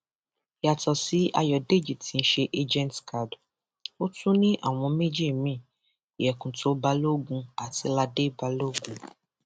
yàtọ sí ayọdèjì tí í ṣe agentkad ó tún ní àwọn ọmọ méjì miín yekunto balógun àti ladé balógun